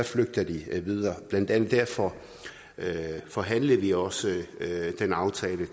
flygter de videre og blandt andet derfor forhandlede vi også den aftale